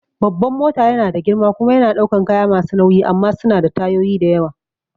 Babban mota yana da girma kuma yana ɗaukan kaya masu nauyi amma suna da tayoyi da yawa